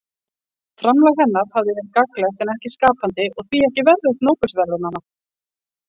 Framlag hennar hafi verið gagnlegt en ekki skapandi og því ekki verðugt Nóbelsverðlaunanna.